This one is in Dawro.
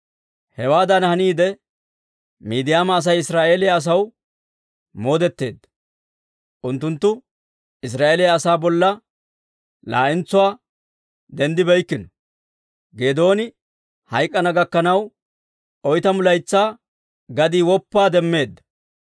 Hewaadan haniide, Miidiyaama Asay Israa'eeliyaa asaw moodetteedda; unttunttu Israa'eeliyaa asaa bolla laa'entsuwaa denddibeykkino. Geedooni hayk'k'ana gakkanaw, oytamu laytsaa gadii woppaa demmeedda.